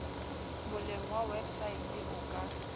moleng wa wepsaete o ka